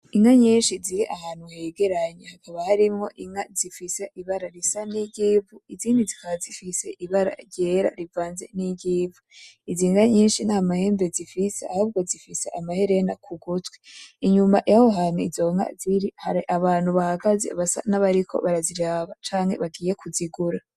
Inka nyinshi ziri ahantu hegeranye haba harimwo inka zifise ibara risa nijyivu izindi zikaba zifise ibara ryera rivanze niryivu. Izi nka nyishi ntamahembe zifise ahubwo zifise amaherena kugutwi, inyuma yaho hantu izo nka ziri hari abantu bahagaze basa nabariko baraziraba canke bagiye kuzigura.